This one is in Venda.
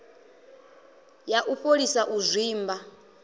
ya u fholisa u zwimba